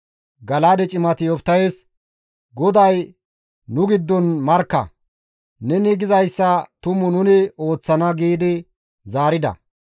Gala7aade cimati Yoftahes, «GODAY nu giddon markka! Neni gizayssa tumu nuni ooththana» giidi zaarida.